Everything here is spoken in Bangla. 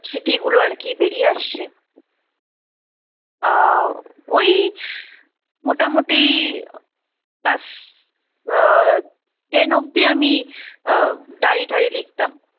স্মৃতিগুলো আর কি বেরিয়ে আসছে আহ ওই মোটামুটি class আহ ten অব্দি আমি আহ diary ঠাইরি লিখতাম।